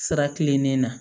Sira kilennen na